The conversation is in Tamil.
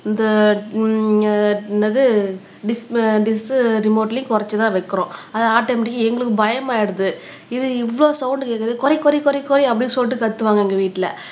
இந்த உம் என்னது டிஸ் டிஸ் ரிமோட்ளையும் குறைச்சுதான் வைக்கிறோம் அது ஆட்டோமேட்டிகா எங்களுக்கு பயமாயிடுது இது இவ்வளவு சவுண்ட் கேக்குது குறை குறை குறை குறை அப்படின்னு சொல்லிட்டு கத்துவாங்க எங்க வீட்டுல